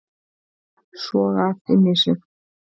Soga allt inn í sig